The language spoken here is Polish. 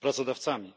pracodawcami.